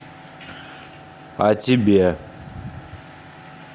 а тебе